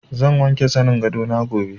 Zan wanke zanin gado na gobe.